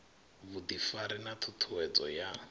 vhuḓifari na ṱhu ṱhuwedzo ya